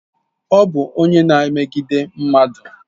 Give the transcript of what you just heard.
Ọ bụ onye na emegidi mmadụ